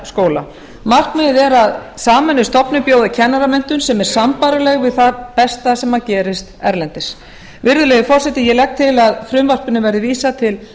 skóla markmiðið er að sameinuð stofnun búi að kennaramenntun sem er sambærileg við það besta sem gerist erlendis virðulegi forseti ég legg til að frumvarpinu verði vísað til